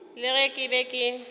le ge ke be ke